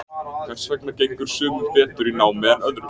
Hvers vegna gengur sumum betur í námi en öðrum?